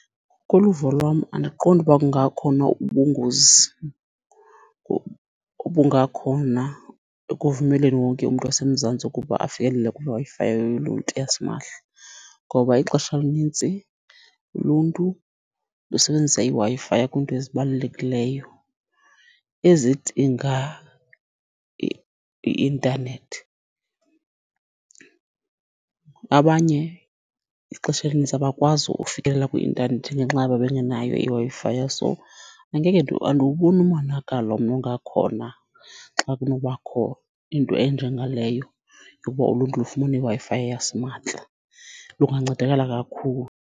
Kuluvo lwam andiqondi ukuba kungakhona ubungozi obungakhona ekuvumeleni wonke umntu waseMzantsi ukuba afikelele kwiWi-Fi yoluntu yasimahla. Ngoba ixesha elintsi uluntu lusenbenzisa iWi-Fi kwiinto ezibalulekileyo ezidinga i-intanethi. Abanye ixesha elinintsi abakwazi uikelela kwi-intanethi ngenxa yoba bengenayo iWi-Fi, so angeke , andiwuboni umonakalo mna ongakhona xa kunobakho into enjengaleyo yoba uluntu lufumane iWi-Fi yasimahla. Lungancedakala kakhulu.